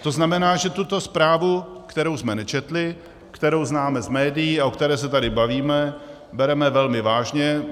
To znamená, že tuto zprávu, kterou jsme nečetli, kterou známe z médií a o které se tady bavíme, bereme velmi vážně.